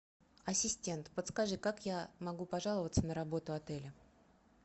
ассистент подскажи как я могу пожаловаться на работу отеля